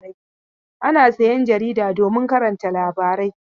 Ana sayan jarida domin karanta labarai.